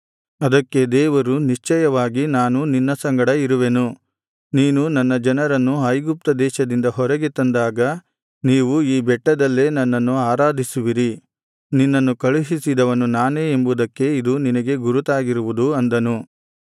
ಅದಕ್ಕೆ ದೇವರು ನಿಶ್ಚಯವಾಗಿ ನಾನು ನಿನ್ನ ಸಂಗಡ ಇರುವೆನು ನೀನು ನನ್ನ ಜನರನ್ನು ಐಗುಪ್ತದೇಶದಿಂದ ಹೊರಗೆ ತಂದಾಗ ನೀವು ಈ ಬೆಟ್ಟದಲ್ಲೇ ನನ್ನನ್ನು ಆರಾಧಿಸುವಿರಿ ನಿನ್ನನ್ನು ಕಳುಹಿಸಿದವನು ನಾನೇ ಎಂಬುವುದಕ್ಕೆ ಇದು ನಿನಗೆ ಗುರುತಾಗಿರುವುದು ಅಂದನು